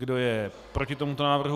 Kdo je proti tomuto návrhu?